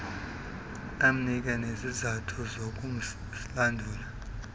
amnike nezizathu zokusilandula